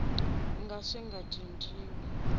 nga ka swi nga cinciwi